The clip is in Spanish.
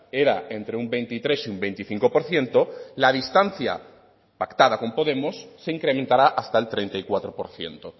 era entre un veintitrés y un veinticinco por ciento la distancia pactada con podemos se incrementará hasta el treinta y cuatro por ciento